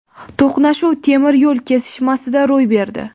To‘qnashuv temir yo‘l kesishmasida ro‘y berdi.